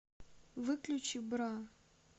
выключи бра